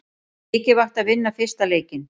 Mikilvægt að vinna fyrsta leikinn